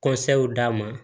d'a ma